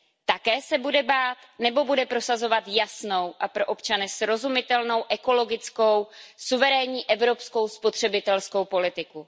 Také se bude bát, nebo bude prosazovat jasnou a pro občany srozumitelnou, ekologickou, suverénní evropskou spotřebitelskou politiku?